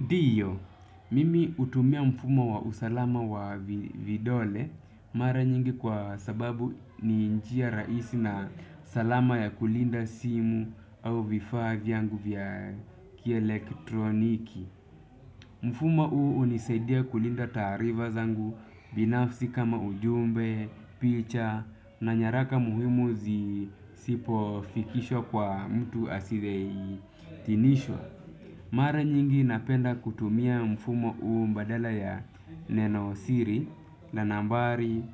Ndio, mimi hutumia mfumo wa usalama wa vidole, mara nyingi kwa sababu ni njia rahisi na salama ya kulinda simu au vifaa yangu vya ki elektroniki. Mfumo uu unisaidia kulinda taariva zangu, binafsi kama ujumbe, picha, na ni haraka muhimu zisipofikishwa kwa mtu asithei tinisho. Mara nyingi napenda kutumia mfumo uu mbadala ya nenosiri na nambari,